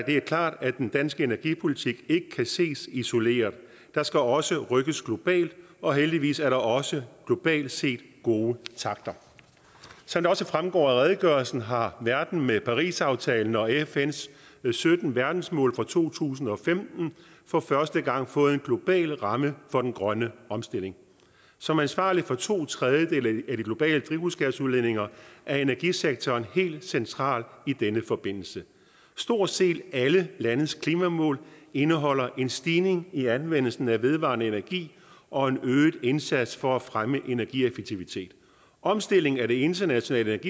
er klart at den danske energipolitik ikke kan ses isoleret der skal også rykkes globalt og heldigvis er der også globalt set gode takter som det også fremgår af redegørelsen har verden med parisaftalen og fns sytten verdensmål fra to tusind og femten for første gang fået en global ramme for den grønne omstilling som ansvarlig for to tredjedele af de globale drivhusgasudledninger er energisektoren helt central i denne forbindelse stort set alle landes klimamål indeholder en stigning i anvendelsen af vedvarende energi og en øget indsats for at fremme energieffektivitet omstillingen af det internationale